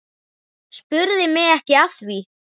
Spurðu mig ekki að því.